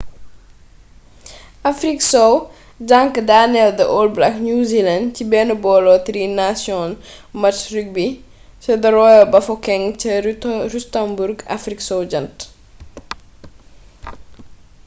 afrik sow jank danel the all black new zealandci ben bolo tri nations match rugby ca the royal bafokeng ca rustenburg afrik sow jant